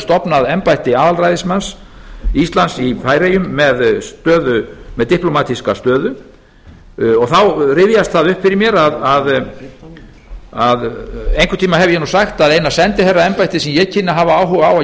stofnað embætti aðalræðismanns íslands í færeyjum með diplómatíska stöðu þá rifjast það upp fyrir mér að einhvern tíma hef ég nú sagt að eina sendiherraembættið sem ég kynni að hafa áhuga